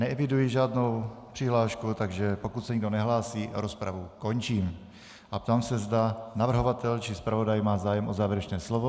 Neeviduji žádnou přihlášku, takže pokud se nikdo nehlásí, rozpravu končím a ptám se, zda navrhovatel či zpravodaj mají zájem o závěrečné slovo.